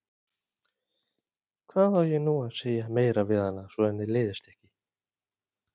Hvað á ég nú að segja meira við hana, svo að henni leiðist ekki?